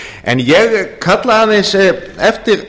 en ég kalla aðeins eftir